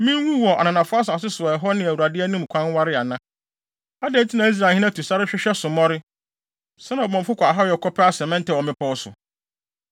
Minwu wɔ ananafo asase so a ɛhɔ ne Awurade anim kwan ware ana? Adɛn nti na Israelhene atu sa, rehwehwɛ sommɔre; sɛnea ɔbɔmmɔfo kɔ ahayɛ kɔpɛ asɛmɛntɛ wɔ mmepɔw so?”